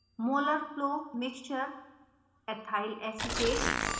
molar flow mixture/ethyl acetate